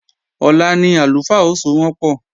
Ọ̀la ni àlùfáà ó sowọ́npọ̀